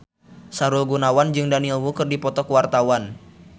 Sahrul Gunawan jeung Daniel Wu keur dipoto ku wartawan